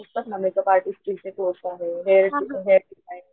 असतात ना makeup artist चे कोर्से आहे हेअर हेअर डिसाइन,